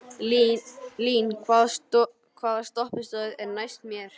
Lín, hvaða stoppistöð er næst mér?